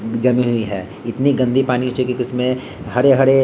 जमी रही है इतने गंदे पानी हो चुके हैं की उसमें हरे-हरे --